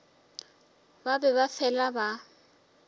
ba be ba fela ba